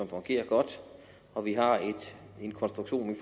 fungerer godt og vi har en konstruktion